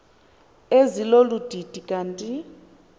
ezilolu didi kanti